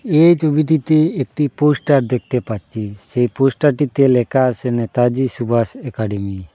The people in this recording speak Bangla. এই ছবিটিতে একটি পোস্টার দেখতে পাচ্ছি সেই পোস্টারটিতে লেখা আসে নেতাজী সুভাষ একাডেমি ।